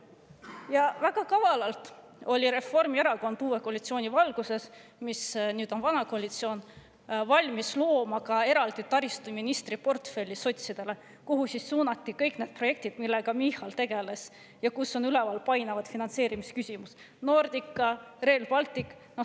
Ja väga kavalalt oli Reformierakond uue koalitsiooni valguses, mis nüüd on vana koalitsioon, valmis looma ka eraldi taristuministri portfelli sotsidele, kuhu suunati kõik need projektid, millega Michal tegeles, ja kus on üleval painavad finantseerimisküsimused: Nordica, Rail Baltic.